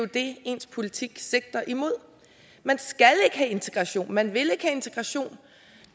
det ens politik sigter imod man skal ikke have integration man vil ikke have integration